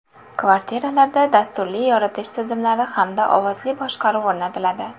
Kvartiralarda dasturli yoritish tizimlari hamda ovozli boshqaruv o‘rnatiladi.